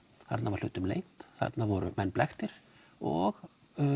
þarna var hlutum leynt þarna voru menn blekktir og